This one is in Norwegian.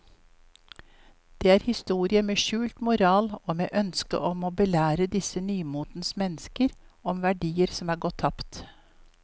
Det er historier med skjult moral og med ønske om å belære disse nymotens mennesker om verdier som er gått tapt.